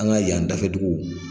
An ka yan dafɛ dugu,